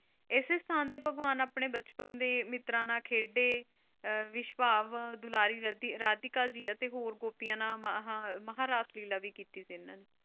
ਇਸੇ ਸਥਾਨ ਤੇ ਭਗਵਾਨ ਆਪਣੇ ਬੱਚਪਨ ਦੇ ਮਿੱਤਰਾਂ ਨਾਲ ਖੇਡਦੇ ਨਿਸ਼ਭਾਵ ਦੁਲਾਰੀ ਰਾਤੀਕਾ ਅਤੇ ਹੋਰ ਗੋਪੀਆਂ ਨਾਲ ਮਹਾਰਾਸਲੀਲਾ ਵੀ ਕੀਤੀ ਸੀ ਇਹਨਾਂ ਨੇ।